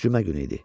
Cümə günü idi.